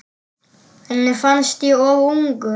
Henni fannst ég of ungur.